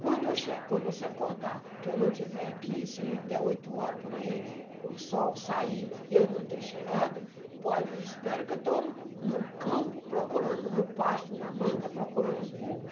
Quando eu che quando você acordar, que eu não estiver aqui, se der oito horas por aí, o sol sair e eu não ter chegado, pode, espera que eu estou no campo procurando, no pasto, na manga, procurando os burros.